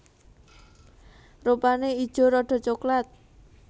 Rupane ijo rada coklat